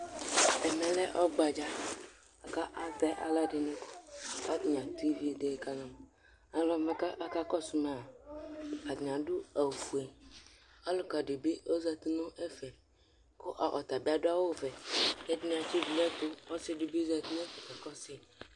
Ɛmɛlɛ ɔgbadza kʋ atɛ alʋɛdini, kʋ atani atʋ ividi kama Alʋwani kʋ akakɔsʋ maa adʋ ofue, alʋkadibi ozati nʋ ɛfɛ kʋ ɔtabi adʋ awʋvɛ, kʋ ɛdini atsidʋ nʋ ɛtʋ kʋ ɔsidibi zati nʋ ɛfɛ kakɔsʋ yi